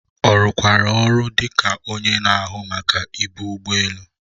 Ọ rụkwara ọrụ dị ka onye na-ahụ Maka ibu ụgbọ elu?